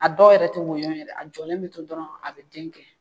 A dɔw yɛrɛ te woyon yɛrɛ a jɔlen be to dɔrɔn a be denkɛ